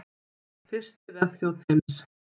Fyrsti vefþjónn heims.